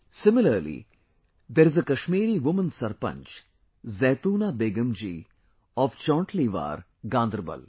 Similarly, there is a Kashmiri woman sarpanch Zaitoona Begum ji of Chauntliwaar, Gaanderbal